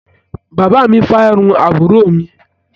Bàbá mi fárun àbúrò mi.